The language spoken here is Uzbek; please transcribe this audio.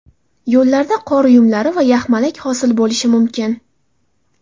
Yo‘llarda qor uyumlari va yaxmalak hosil bo‘lishi mumkin.